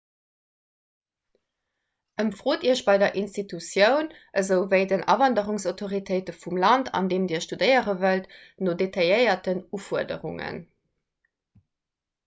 ëmfrot iech bei der institutioun esouwéi den awanderungsautoritéite vum land an deem dir studéiere wëllt no detailléierten ufuerderungen